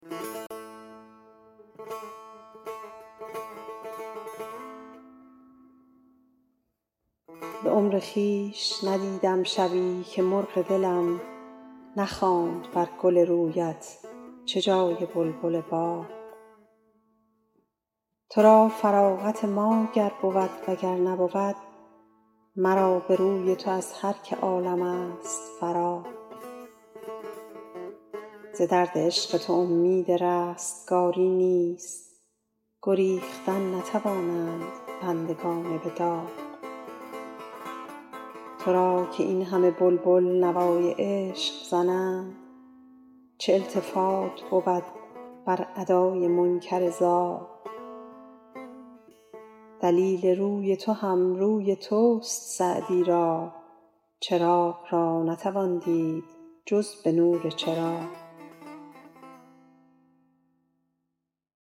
به عمر خویش ندیدم شبی که مرغ دلم نخواند بر گل رویت چه جای بلبل باغ تو را فراغت ما گر بود و گر نبود مرا به روی تو از هر که عالم ست فراغ ز درد عشق تو امید رستگاری نیست گریختن نتوانند بندگان به داغ تو را که این همه بلبل نوای عشق زنند چه التفات بود بر ادای منکر زاغ دلیل روی تو هم روی توست سعدی را چراغ را نتوان دید جز به نور چراغ